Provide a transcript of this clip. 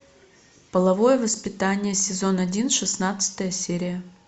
половое воспитание сезон один шестнадцатая серия